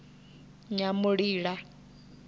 nyamulila